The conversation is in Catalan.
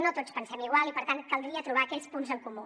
no tots pensem igual i per tant caldria trobar aquells punts en comú